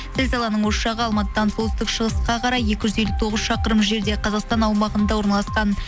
зілзаланың ошағы алматыдан солтүстік шығысқа қарай екі жүз елу тоғыз шақырым жерде қазақстан аумағында орналасқан